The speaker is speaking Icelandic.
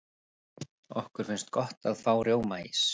okkur finnst gott að fá rjómaís